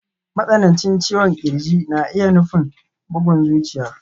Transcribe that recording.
Matsanancin ciwon ƙirji na iya nufin bugun zuciya.